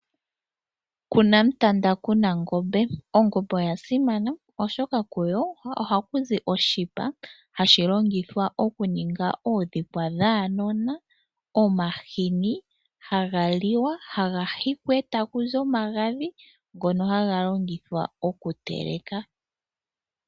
Kuna mutanda kuna ngombe. Ongombe oyasimana oshoka kuyo ohakuzi oshipa hashilongithwa okuninga oodhikwa dhaanona, omahini hagaliwa, haga hikwa etakuzi omagadhi ngoka haga longithwa okuteleka.